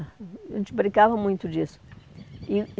A gente brincava muito disso. E